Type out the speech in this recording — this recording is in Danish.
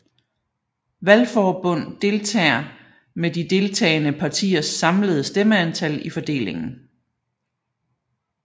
Valgforbund deltager med de deltagende partiers samlede stemmeantal i fordelingen